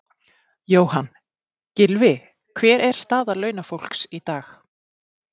Jóhann: Gylfi, hver er staða launafólks í dag?